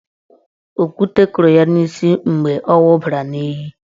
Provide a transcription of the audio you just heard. Okwute kụrụ ya n'isi mgbe ọ wụbara n'iyi.